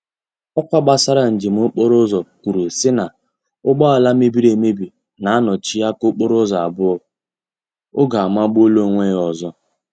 Ọkwa gbasara njem okporo ụzọ kwuru sị na ụgbọala mebiri emebi na-anọchi aka okporo ụzọ abụọ — oge amagbuola onwe ya ọzọ